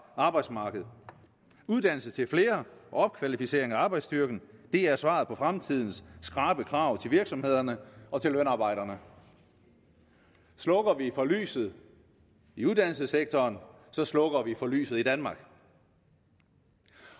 arbejdsmarked uddannelse til flere og opkvalificering af arbejdsstyrken er svaret på fremtidens skrappe krav til virksomhederne og til lønarbejderne slukker vi for lyset i uddannelsessektoren så slukker vi for lyset i danmark